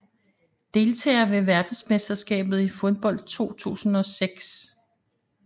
Deltagere ved verdensmesterskabet i fodbold 2006